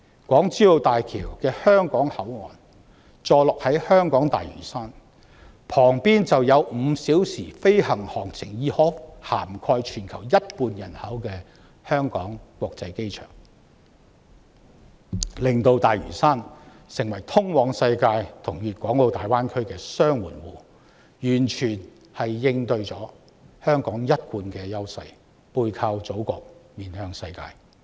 港珠澳大橋香港口岸坐落在香港大嶼山，毗鄰5小時飛行航程範圍已涵蓋全球一半人口的香港國際機場，令大嶼山成為通往世界和粵港澳大灣區的"雙門戶"，完全應對了香港"背靠祖國、面向世界"的一貫優勢。